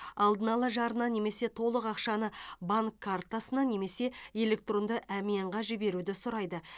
алдын ала жарна немесе толық ақшаны банк картасына немесе электронды әмиянға жіберуді сұрайды